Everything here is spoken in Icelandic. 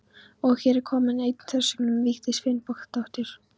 Og er hér komin ein þversögnin um Vigdísi Finnbogadóttur.